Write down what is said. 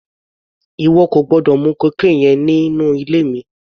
Ìwọ kò gbọ́dọ̀ mu cocaine yẹn nínú ilé mi!